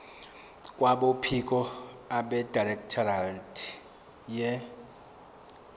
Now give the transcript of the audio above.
kwabophiko abedirectorate ye